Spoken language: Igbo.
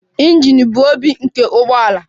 Injin bụ obi nke ụgbọ ala.